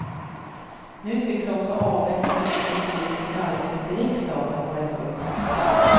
Nu tycks också avvecklingen av det politiska arbetet i riksdagen vara i full gång.